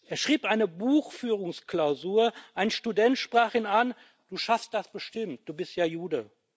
Er schrieb eine Buchführungsklausur, ein Student sprach ihn an Du schaffst das bestimmt, du bist ja Jude.